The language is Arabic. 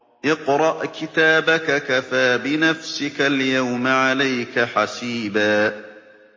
اقْرَأْ كِتَابَكَ كَفَىٰ بِنَفْسِكَ الْيَوْمَ عَلَيْكَ حَسِيبًا